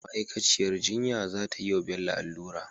ma'akaciyar jinya zatayi wa Bello allura